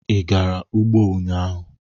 Ị gara ugbo ụnyahụ?